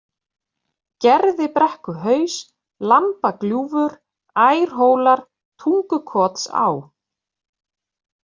Gerðibrekkuhaus, Lambagljúfur, Ærhólar, Tungukotsá